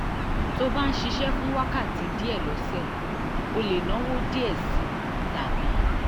tó o bá ń ṣiṣẹ́ fún wákàtí díẹ̀ lọ́sẹ̀ o lè náwó díẹ̀ sí i tàbí